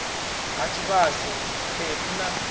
a ha tshivhase mphephu na